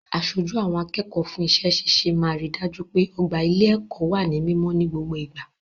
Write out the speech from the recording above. Aṣojú àwọn akẹ́kọ̀ọ́ fún iṣẹ́ ṣíṣe máa ri dájú pé ọgbà ilé-ẹ̀kọ́ wà ní mímọ́ ní gbogbo ìgbà.